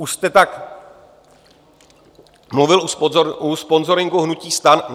Už jste tak mluvil u sponzoringu hnutí STAN.